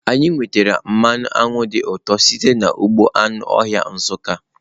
Anyị nwetara mmanụ aṅụ dị ụtọ site n'ugbo anụ ọhịa Nsukka.